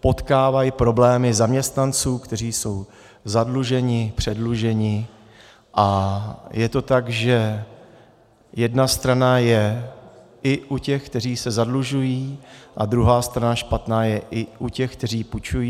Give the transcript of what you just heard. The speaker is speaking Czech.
potkávají problémy zaměstnanců, kteří jsou zadlužení, předlužení, a je to tak, že jedna strana je i u těch, kteří se zadlužují, a druhá strana špatná je i u těch, kteří půjčují.